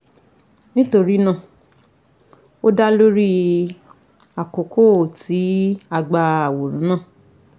nitorinaa o da lori akoko ti a gba aworan naa